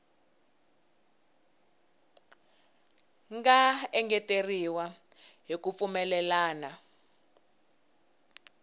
nga engeteriwa hi ku pfumelelana